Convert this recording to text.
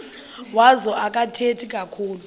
wazo akathethi kakhulu